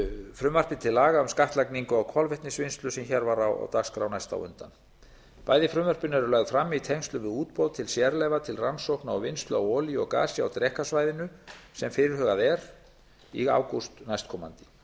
frumvarpi til laga um skattlagningu á kolvetnisvinnslu sem hér var á dagskrá næst á undan bæði frumvörpin eru lögð fram í tengslum við útboð til sérleyfa til rannsókna og vinnslu á olíu og gasi á drekasvæðinu sem fyrirhugað er í ágúst næstkomandi